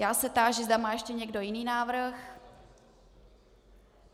Já se táži, zda má ještě někdo jiný návrh.